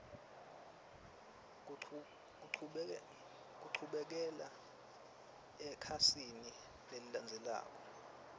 kuchubekela ekhasini lelilandzelako